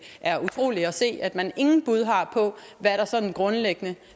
er utroligt at se at man ingen bud har på hvad der sådan grundlæggende